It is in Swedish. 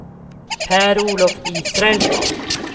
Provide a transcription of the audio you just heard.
Per-Olof Israelsson